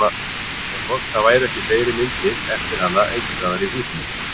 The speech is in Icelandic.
En hvort það væru ekki fleiri myndir eftir hana einhvers staðar í húsinu?